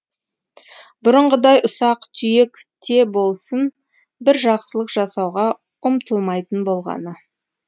бұрынғыдай ұсақ түйек те болсын бір жақсылық жасауға ұмтылмайтын болғаны